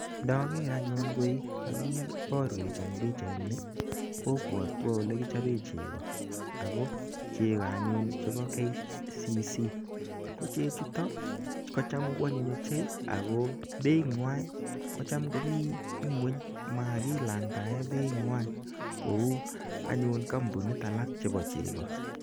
Ndager anyun koi kakiparwech eng' pichaini kopwatwa ole kichope cheko ako cheko anyun chepo KCC. Ko chechutok ko cham koanyiny ochei akoi peinyeshek komi ng'weny. Makilandaen peinywan kou anyun kampinishek alak chepo cheko.